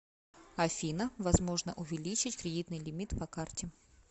афина возможно увеличить кредитный лимит по карте